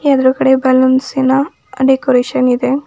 ಎರಡು ಕಡೆ balloons in decoration ಇದೆ.